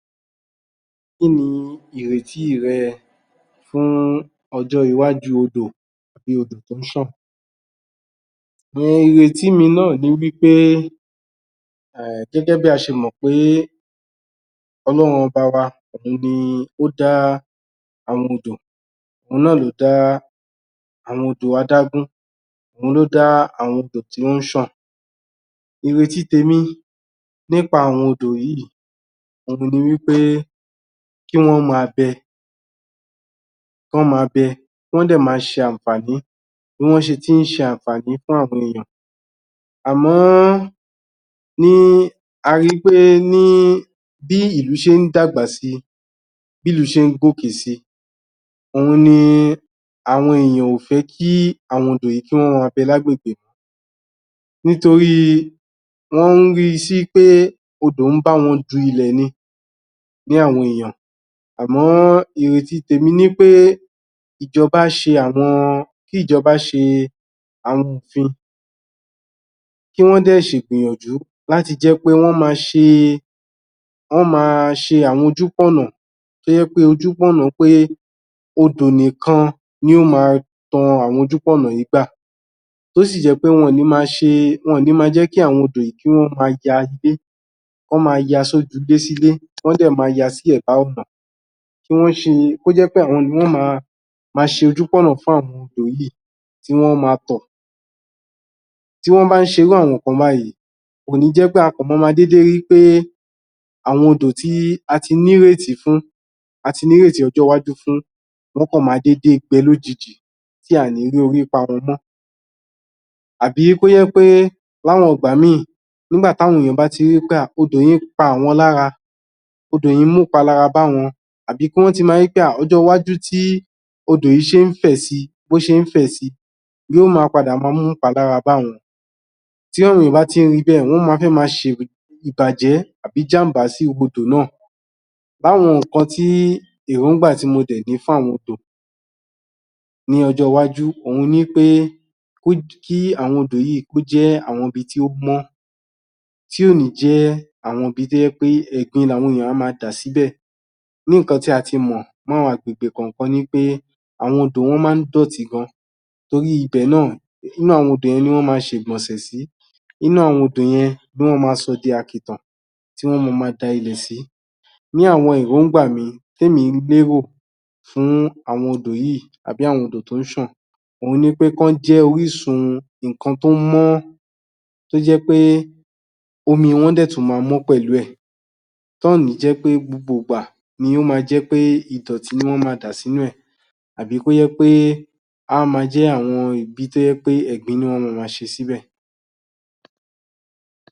Kí ni ìrètí rẹ fún ọjọ́ iwájú odò? ìyẹn odò tó ń ṣàn. um Ìrètí mi náà ni wí pé, um gẹ́gẹ́ bí a ṣe mọ̀ pé Ọlọ́run ọba wa, òun ni ó dá àwọn odò, òun náà ló dá àwọn odò adágún, òun ló dá àwọn odò tí ó ń ṣàn, èrò ti tèmi nípa àwọn odò yìí òun ni wí pé kí wọ́n máa bẹ kọ́ máa bẹ, wọ́n dẹ máa ṣe àǹfààní bí wọ́n ṣe tí ń ṣe àǹfààní fún àwọn èèyàn àmọ́ ní a ri pé, ní bí ìlú ṣé ń dàgbà si, bí ìlú ṣé ń gòkè si òun ni àwọn èèyàn ò fẹ́ kí àwọn odò yìí kí wọ́n máa bẹ lágbègbè nítorí wọ́n ri sí pé odò ń bá wọn du ilẹ̀ ni, bí àwọn èèyàn àmọ́ èrò ti tèmi ni wí pé ìjọba ṣe àwọn, kí ìjọba ṣe àwọn òfin kí wọ́n dẹ̀ ṣì gbìyànjú láti jẹ́ pé wọ́n máa ṣe wá máa ṣe àwọn ojú pọ̀nà tó jẹ́ pé, ojú pọ̀nà pé odò nìkan ni yóò máa tọ àwọn ojú pọ̀nà yìí gbà. Tó sì jẹ́ pé, wọn ò ni máa jẹ́ kí àwọn odò yìí kí wọ́n máa yalé wọ́n máa ya sójúlé-sílé kọ́ dẹ̀ máa yà sí ẹ̀bá ọ̀nà kí wọn ṣe, kó jẹ́ wí pé àwọn ni wọ́n máa máa ṣe ojú pọ̀nà fún àwọn odò yìí, tí wọ́n ó máa tọ̀. Tí wọ́n bá ṣe irú àwọn ǹnkan báyìí kò ní jẹ́ pẹ́ a kan máa déédé ri pé àwọn odò tí a ti ní ìrètí fún, ti ní ìrètí ọjọ́ iwájú fún wọ́n kan máa déédé gbẹ lójijì tí a ò ní rí ipa wọn mọ́, àbí kó jẹ́ wí pé láwọn ìgbà mìí nígbà tí àwọn èèyàn bá ti ri pé ah odò yìí pa àwọn lára odò yìí mú ìpalára bá àwọn àbí kí wọ́n ti máa ri pé ah ọjọ́ iwájú tí odò yìí ṣé ń fẹ̀ si, bó ṣe ń fẹ̀ si ni yóò máa padà ma mú ìpalára bá àwọn tí àwọn èèyàn bá ti ri bẹ́ẹ̀, wọ́n máa fẹ́ ma ṣe ìbàjẹ́ àbí ìjàm̀bá sí odò náà Àwọn ǹnkan tí èròngbà tí mo dẹ̀ ní fún àwọn odò ní ọjọ́ iwájú, òun ni pé kí àwọn odò yìí kó jẹ́ àwọn ibi tí ó mọ́, tí ò ní jẹ́ àwọn ibi tó jẹ́ pé ẹ̀gbin làwọn èèyàn ma máa dà síbẹ̀ Ní ǹnkan tí a ti mọ̀ mọ́ agbègbè kaǹ-àn-kan ni wí pé àwọn odò yẹn máa ń dọ̀tí gan orí ibẹ̀ náà inú àwọn odò yẹn ni wọ́n máa ṣe ìgbọ̀nsẹ̀ sí inú àwọn odò yẹn ni wọ́ máa sọ di àkìtàn tí wọ́n á máa da ilẹ̀ sí. Ní àwọn èròngbà mi tí èmi ń gbé wò fún àwọn odò yìí àbí àwọn odò tí ó ń sàn òun ni wí pé kí wọ́n jẹ́ orísun. Ǹnkan tó mú tó jẹ́ pé omi wọn dẹ̀ tún máa mọ́ pẹ̀lú ẹ̀ tí ò ní jẹ́ pé gbogbo ìgbà ni ó máa jẹ́ pé ìdọ̀tí ni wọ́n máa dà sínú ẹ̀ àbí kó jẹ́ pé a máa jẹ́ àwọn ibi pé ẹ̀gbin ni wọ́n ma máa ṣe síbẹ̀.